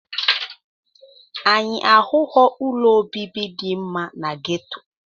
Anyị ahụghị ụlọ obibi dị mma na geto.